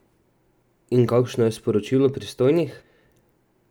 In kakšno je sporočilo pristojnih?